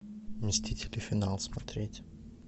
мстители финал смотреть